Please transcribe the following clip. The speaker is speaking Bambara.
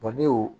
ne y'o